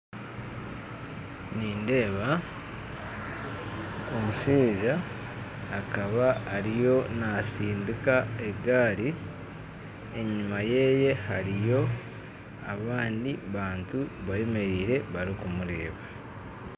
Nindeeba omushaija akaba ariyo nasindika egari enyuma yeye hariyo abandi bantu bemeriire bari kumureeba